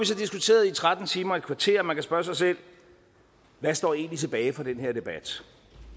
så diskuteret i tretten timer og et kvarter og man kan spørge sig selv hvad står egentlig tilbage fra den her debat